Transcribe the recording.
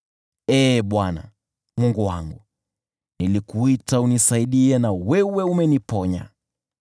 Ee Bwana , Mungu wangu, nilikuita unisaidie na wewe umeniponya.